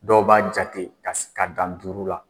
Dɔw b'a jate ka s ka dan duuru la.